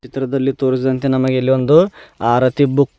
ಚಿತ್ರದಲ್ಲಿ ತೋರಿಸಿದಂತೆ ನಮಗೆ ಇಲ್ಲೊಂದು ಆರತಿ ಬುಕ್ --